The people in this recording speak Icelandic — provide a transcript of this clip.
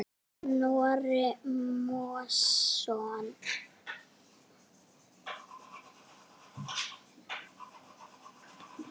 Snorri Másson.